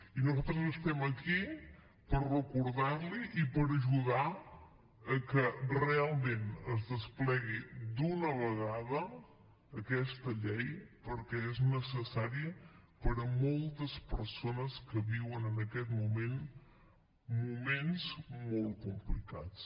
i nosaltres estem aquí per recordar li i per ajudar a que realment es desplegui d’una vegada aquesta llei perquè és necessari per a moltes persones que viuen en aquest moment moments molt complicats